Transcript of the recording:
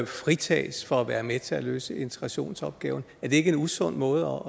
fritages for at være med til at løse integrationsopgaven er det ikke en usund måde